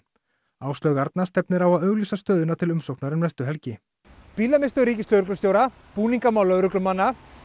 Áslaug Arna stefnir á að auglýsa stöðuna til umsóknar um næstu helgi bílamiðstöð ríkislögreglustjóra búningmál lögreglumanna